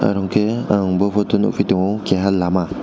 oro ke ang bw photo nugfio keia lama.